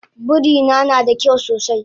Birina nada kyau sosai